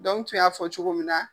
Dɔnku n tun y'a fɔ cogo min na.